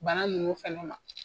Bana ninnu fana ma